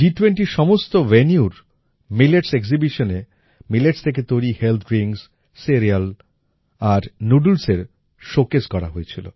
G20র সমস্ত venueর মিলেটস Exhibitionএ মিলেটস থেকে তৈরি হেলথ ড্রিঙ্কস সিরিয়ালস আর noodlesএর শোকেস করা হয়েছিল